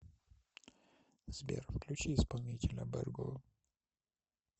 сбер включи исполнителя берго